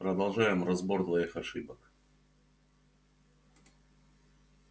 продолжаем разбор твоих ошибок